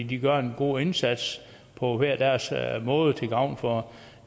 de gør en god indsats på hver deres måde til gavn for